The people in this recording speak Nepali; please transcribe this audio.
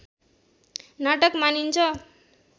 नाटक मानिन्छ